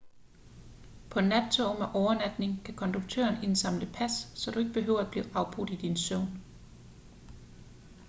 på nattoge med overnatning kan konduktøren indsamle pas så du ikke behøver at blive afbrudt i din søvn